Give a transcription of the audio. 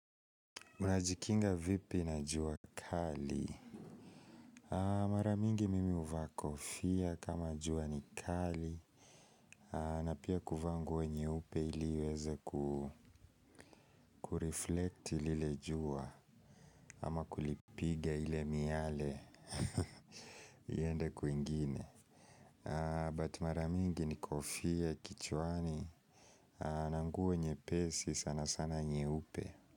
Mnajikinga vipi na jua kali. Mara mingi mimi huvaa kofia kama jua ni kali. Na pia kuvaa nguo nyeupe ili iweze kureflekti lile jua. Ama kulipiga ile miale. Iende kwingine. Mara mingi ni kofia kichwani na nguo nyepesi sana sana nyeupe.